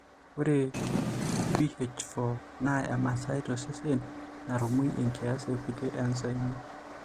Ore BH4 naa emasaai tosesen narumu enkias ekulie enzymi.